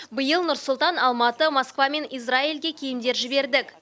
биыл нұр сұлтан алматы москва мен израильге киімдер жібердік